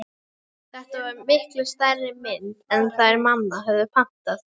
Þetta var miklu stærri mynd en þær mamma höfðu pantað.